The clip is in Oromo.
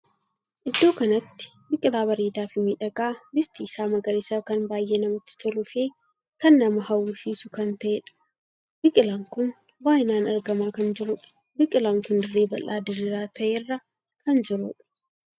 Iddoo kanatti biqilaa bareedaa fi miidhagaa bifti isaa magariisa kan baay'ee namatti toluu fi kan nama hawwisiisu kan taheedha. biqilaan kun baay'inaan argamaa kan jiruudha. biqilaa kun dirree bal'aa diriiraa tahe irraa kan jiruudha.